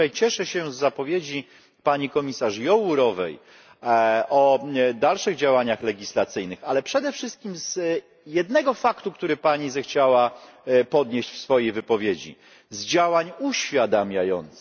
I tutaj cieszę się z zapowiedzi pani komisarz Jourovej o dalszych działaniach legislacyjnych, ale przede wszystkim z jednego faktu, który Pani zechciała podnieść w swojej wypowiedzi z działań uświadamiających.